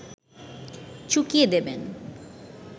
চুকিয়ে দেবেন